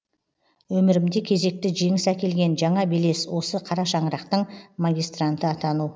өмірімде кезекті жеңіс әкелген жаңа белес осы қара шаңырақтың магистранты атану